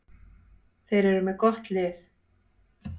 Þeir eru með gott lið.